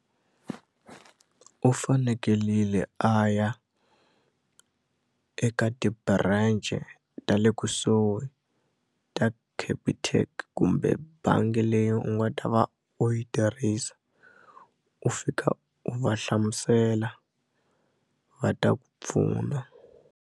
U fanekelile a ya eka ti-branch ta le kusuhi ta Capitec kumbe bangi leyi u nga ta va u yi tirhisa u fika u va hlamusela va ta ku pfuna.